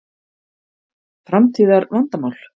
Framtíðar vandamál?